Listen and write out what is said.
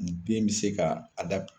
Den bɛ se ka a